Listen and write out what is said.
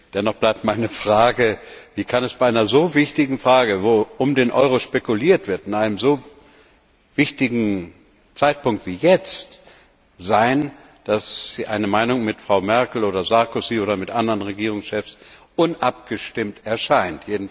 Dennoch bleibt meine Frage Wie kann es bei einer so wichtigen Frage, wo mit dem Euro spekuliert wird, zu einem so wichtigen Zeitpunkt wie jetzt sein, dass Ihre Meinung mit Frau Merkel oder Herrn Sarkozy oder mit anderen Regierungschef unabgestimmt erscheint?